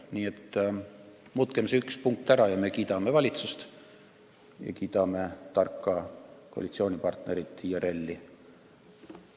Nii et muutkem see üks punkt ära, ja me kiidame valitsust ja kiidame tarka koalitsioonipartnerit IRL-i!